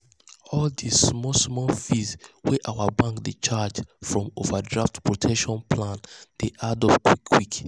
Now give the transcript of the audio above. all the small-small fees wey our bank dey charge from overdraft protection plan dey add up quick quick.